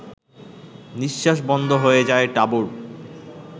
নিঃশ্বাস বন্ধ হয়ে যায় টাবুর